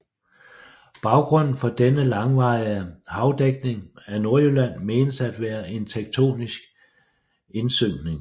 Baggrunden for denne langvarige havdækning af Nordjylland menes at være en tektonisk indsynkning